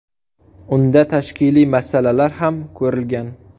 Unda tashkiliy masalalar ham ko‘rilgan.